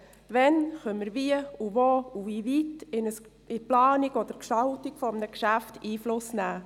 Wann können wir wie und wo und inwieweit in eine Planung oder Gestaltung eines Geschäfts Einfluss nehmen?